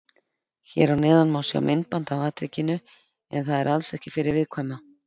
Hér að neðan má sjá myndband af atvikinu en það er alls ekki fyrir viðkvæma.